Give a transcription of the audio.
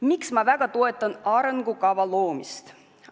Miks ma väga toetan arengukava loomist?